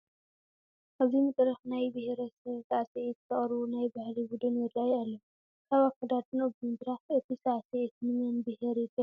ኣብዚ መድረኽ ናይ ብሄረሰብ ሳዕስዒት ዘቕርቡ ናይ ባህሊ ቡድን ይርአዩ ኣለዉ፡፡ ካብ ኣከዳድንኦም ብምድራኽ እቲ ሳዕስዒት ንመን ብሄር ይገልፅ ንብል?